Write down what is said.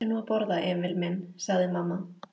Reyndu nú að borða, Emil minn, sagði mamma.